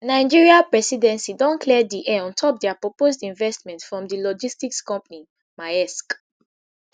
nigeria presidency don clear di air on top dia proposed investment from di logistics company maersk